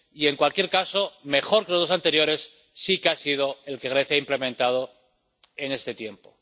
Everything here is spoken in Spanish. Y, en cualquier caso, mejor que los dos anteriores sí que ha sido el que Grecia ha implementado en este tiempo.